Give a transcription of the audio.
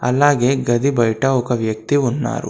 అలాగే గది బయట ఒక వ్యక్తి ఉన్నారు.